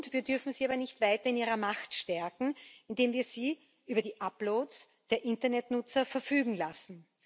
Wir dürfen sie aber nicht weiter in ihrer Macht stärken, indem wir sie über die Uploads der Internetnutzer verfügen lassen.